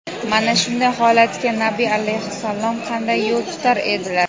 mana shunday holatga Nabiy alayhissalom qanday yo‘l tutar edilar?.